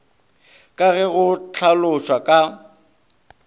ka ge go hlalošwa ka